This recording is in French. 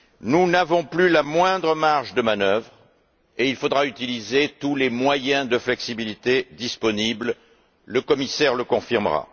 Nous n'avons plus la moindre marge de manœuvre et il faudra utiliser tous les moyens de flexibilité disponibles, ce que le commissaire confirmera.